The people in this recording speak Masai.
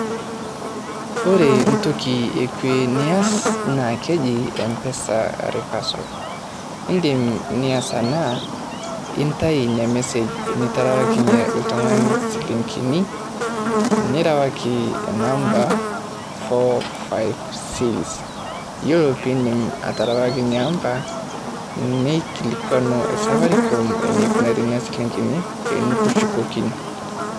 Ore entoki e kue nias naa keji mpesa reversal. Indim nias ena nintayu ina message niterewakinye ltung'ani siling'ini nirewaki inamba [s] four-five-six, iyiolo piindip aterewaki namba nikilikuanu safaricom enikunari nena siling'ini pee nekishukokini.